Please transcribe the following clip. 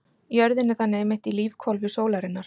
Jörðin er þannig einmitt í lífhvolfi sólarinnar.